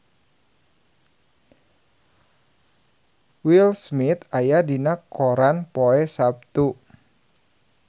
Will Smith aya dina koran poe Saptu